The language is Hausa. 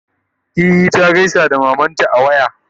e ta gaisa da mamanta a waya.